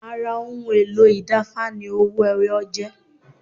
Ara ohun èlò ìda Ifá ni owó ẹwọ jẹ́